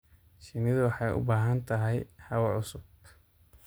Shinnidu waxay u baahan tahay hawo cusub.